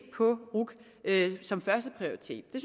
på ruc som førsteprioritet